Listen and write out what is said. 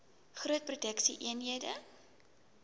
groot produksie eenhede